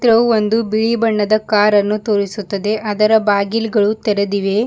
ಒಂದು ಬಿಳಿ ಬಣ್ಣದ ಕಾರ್ ಅನ್ನು ತೋರಿಸುತ್ತದೆ ಅದರ ಬಾಗಿಲ್ ಗಳು ತೆರೆದಿವೆ.